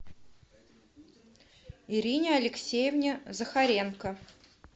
ирине алексеевне захаренко